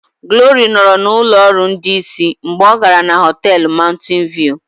Glory nọrọ na ụlọ ọrụ ndị isi mgbe ọ gara na họtel Mountain View